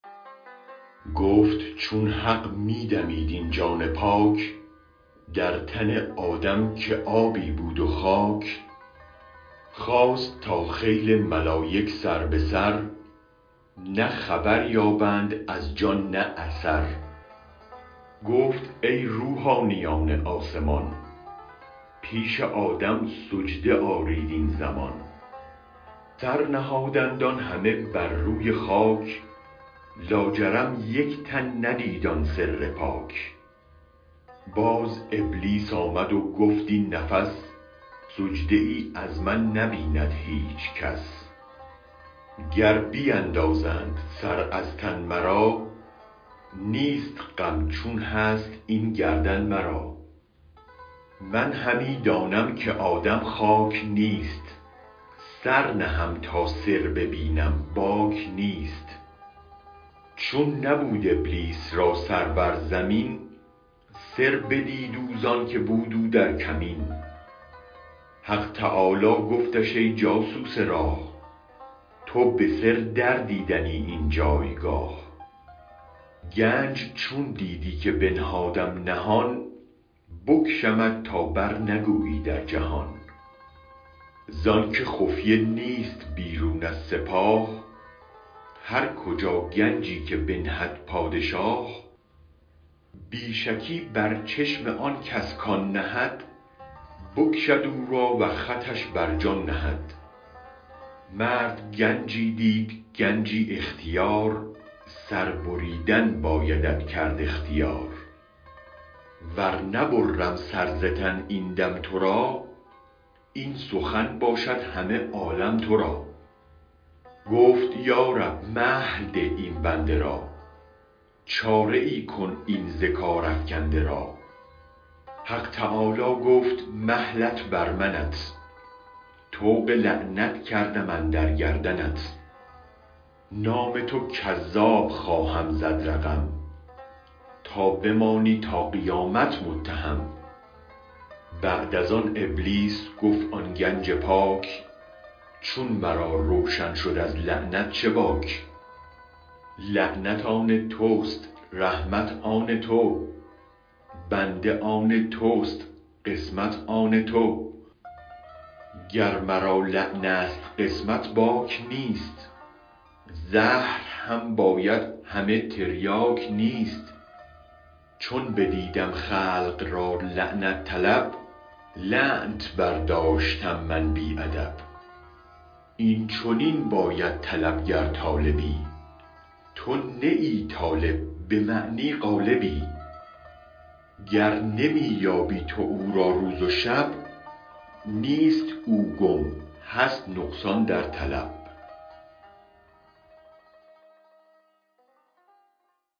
گفت چون حق می دمید این جان پاک در تن آدم که آبی بود و خاک خواست تا خیل ملایک سر به سر نه خبر یابند از جان نه اثر گفت ای روحانیان آسمان پیش آدم سجده آرید این زمان سرنهادند آن همه بر روی خاک لاجرم یک تن ندید آن سر پاک باز ابلیس آمد و گفت این نفس سجده ای از من نبیند هیچ کس گر بیندازند سر از تن مرا نیست غم چون هست این گردن مرا من همی دانم که آدم خاک نیست سر نهم تا سر ببینم باک نیست چون نبود ابلیس را سر بر زمین سر بدید او زانکه بود او در کمین حق تعالی گفتش ای جاسوس راه تو به سر در دیدنی این جایگاه گنج چون دیدی که بنهادم نهان بکشمت تا برنگویی در جهان زانک خفیه نیست بیرون از سپاه هر کجا گنجی که بنهد پادشاه بی شکی بر چشم آنکس کان نهد بکشد او را و خطش بر جان نهد مرد گنجی دید گنجی اختیار سر بریدن بایدت کرد اختیار ور نبرم سر ز تن این دم ترا این سخن باشد همه عالم ترا گفت یا رب مهل ده این بنده را چاره ای کن این ز کار افکنده را حق تعالی گفت مهلت بر منت طوق لعنت کردم اندر گردنت نام تو کذاب خواهم زد رقم تابمانی تا قیامت متهم بعد از آن ابلیس گفت آن گنج پاک چون مرا روشن شد از لعنت چه باک لعنت آن تست رحمت آن تو بنده آن تست قسمت آن تو گر مرا لعنست قسمت باک نیست زهر هم باید همه تریاک نیست چون بدیدم خلق را لعنت طلب لعنتت برداشتم من بی ادب این چنین باید طلب گر طالبی تو نه طالب به معنی غالبی گر نمی یابی تو او را روز و شب نیست او گم هست نقصان در طلب